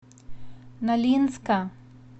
нолинска